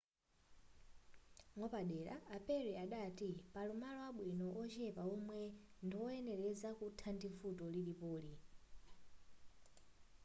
mwapadera a perry adati pali malo abwino ochepa omwe ali ndizoyenereza kuthana ndi vuto lilipoli